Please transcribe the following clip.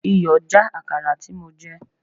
Iyọ̀ já Àkàrà tí mo jẹ.